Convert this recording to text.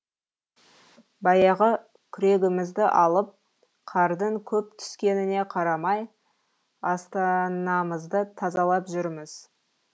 баяғы күрегімізді алып қардың көп түскеніне қарамай астанамызды тазалап жүрміз